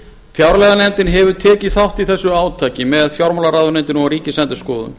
fjárlaganefndin hefur tekið þátt í þessu átaki með fjármálaráðuneytinu og ríkisendurskoðun